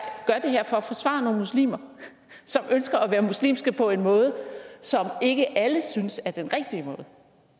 gør det her for at forsvare nogle muslimer som ønsker at være muslimske på en måde som ikke alle synes er den rigtige måde